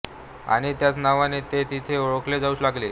आणि त्याच नावाने ते तेथे ओळखले जाऊ लागले